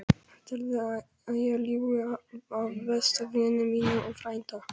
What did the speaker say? Heldurðu að ég ljúgi að besta vini mínum og frænda?